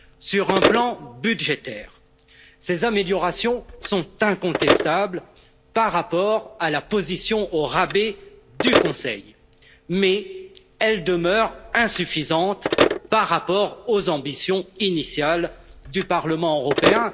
Sur un plan budgétaire, ces améliorations sont incontestables par rapport à la position au rabais du Conseil. Mais elles demeurent insuffisantes par rapport aux ambitions initiales du Parlement européen.